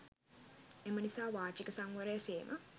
එම නිසා වාචික සංවරය සේම